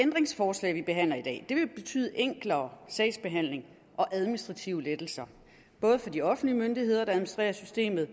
forslag vi behandler i dag vil betyde en enklere sagsbehandling og administrative lettelser både for de offentlige myndigheder der administrerer systemet og